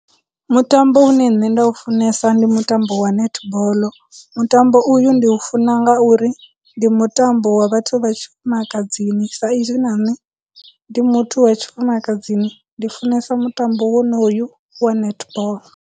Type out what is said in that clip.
Mutambo une nṋe nda u funesa ndi mutambo wa netball, mutambo uyu ndi u funa ngauri ndi mutambo wa vhathu vha tshifumakadzini sa izwi na nne ndi muthu wa tshifumakadzini, ndi funesa mutambo wonoyu wa netball.